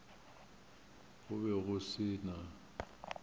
go be go se na